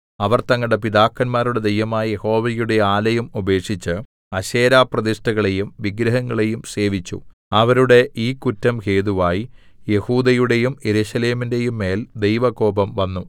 അവർ തങ്ങളുടെ പിതാക്കന്മാരുടെ ദൈവമായ യഹോവയുടെ ആലയം ഉപേക്ഷിച്ച് അശേരാപ്രതിഷ്ഠളെയും വിഗ്രഹങ്ങളെയും സേവിച്ചു അവരുടെ ഈ കുറ്റം ഹേതുവായി യെഹൂദയുടെയും യെരൂശലേമിന്റെയും മേൽ ദൈവകോപം വന്നു